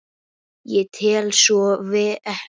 Ég tel svo ekki vera.